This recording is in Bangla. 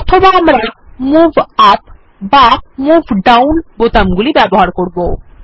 অথবা আমরা মুভ ইউপি বা মুভ ডাউন বোতাম গুলি ব্যবহার করতে পারি